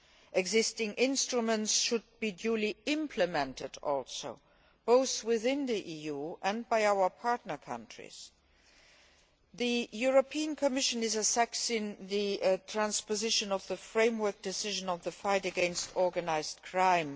The existing instruments should also be duly implemented, both within the EU and by our partner countries. The European Commission is assessing the transposition of the Framework Decision on the fight against organised crime.